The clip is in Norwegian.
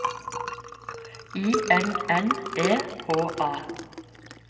I N N E H A